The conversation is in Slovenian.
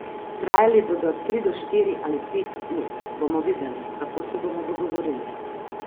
Trajali bodo tri do štiri ali pet ur, bomo videli, kako se bomo dogovorili.